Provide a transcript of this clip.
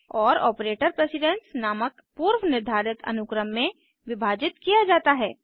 और operator precedence नामक पूर्व निर्धारित अनुक्रम में विभाजित किया जाता है